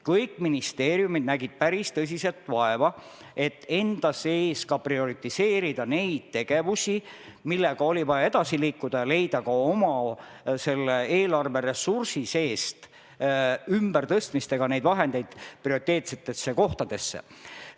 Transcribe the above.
Kõik ministeeriumid nägid päris tõsiselt vaeva, et enda sees prioritiseerida neid tegevusi, millega oli vaja edasi liikuda, ja leida ka oma eelarveressursi seesümbertõstmiste teel neid vahendeid prioriteetsetesse kohtadesse.